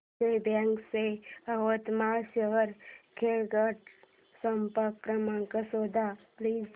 Vijaya bank च्या यवतमाळ शहर शाखेचा संपर्क क्रमांक शोध प्लीज